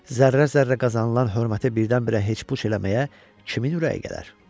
Zərrə-zərrə qazanılan hörməti birdən-birə heç puç eləməyə kimin ürəyi gələr?